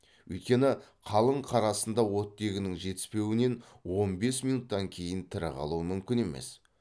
өйткені қалың қар астында оттегінің жетіспеуінен он бес минуттан кейін тірі қалу мүмкін емес